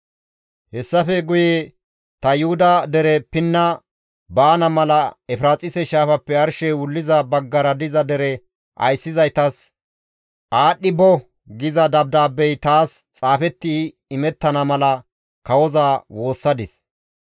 Hessafe guye ta Yuhuda dere pinna baana mala Efiraaxise shaafappe arshey wulliza baggara diza dere ayssizaytas, «Aadhdhi bo» giza dabdaabbey taas xaafeti imettana mala kawoza woossadis;